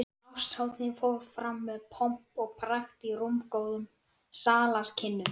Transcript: Árshátíðin fór fram með pomp og prakt í rúmgóðum salarkynnum